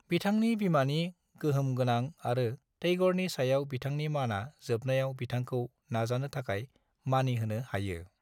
बिथांनि बिमानि गोहोमगोनां आरो टैग'रनि सायाव बिथांनि मानआ जोबनायाव बिथांखौ नाजानो थाखाय मानिहोनो हायो।